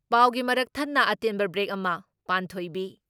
ꯄꯥꯎꯒꯤ ꯃꯔꯛ ꯊꯠꯅ ꯑꯇꯦꯟꯕ ꯕ꯭ꯔꯦꯛ ꯑꯃ ꯄꯥꯟꯊꯣꯏꯕꯤ ꯫